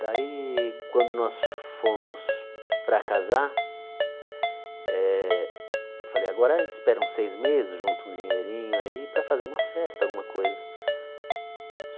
Daí, quando nós fomos para casar, eh eu falei, agora a gente espera uns seis meses, junta um dinheirinho aí para fazer uma festa, alguma coisa.